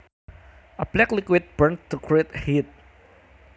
A black liquid burned to create heat